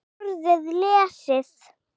Borðið lesið.